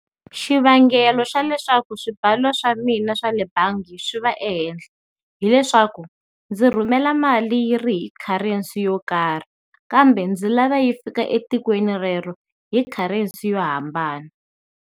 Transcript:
Xivangelo xa leswaku swibalo swa mina swa le bangi swi va ehenhla hileswaku ndzi rhumela mali yi ri hi currency yo karhi kambe ndzi lava yi fika etikweni rero hi currency yo hambana.